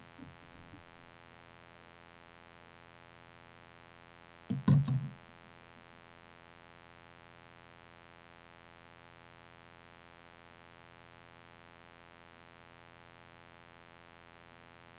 Tester en to tre fire fem seks syv otte.